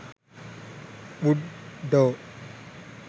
wood door